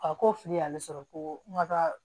A ko fili y'ale sɔrɔ ko n ka taa